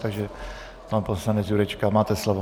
Takže pan poslanec Jurečka, máte slovo.